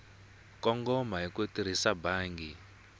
kongoma hi ku tirhisa bangi